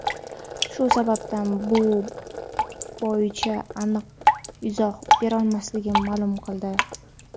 shu sababdan bu bo‘yicha aniq izoh berolmasligini ma’lum qildi.